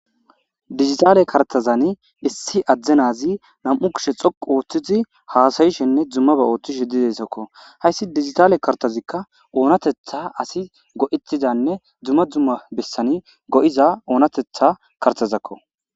Digitaale kartazan issi addenazi nam7u kishe xoqu ooththizi haasayishenne dzummaba ooththish h didesakko hayssi digitaale kartazikka oonatetha asi go7itizanne dzumma dzumma bessani go7iza oonatetha kartazakko.